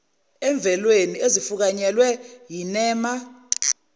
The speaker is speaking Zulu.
emvelweni ezifukanyelwe yinema